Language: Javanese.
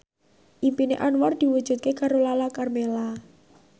impine Anwar diwujudke karo Lala Karmela